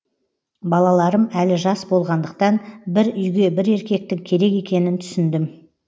балаларым әлі жас болғандықтан бір үйге бір еркектің керек екенін түсіндім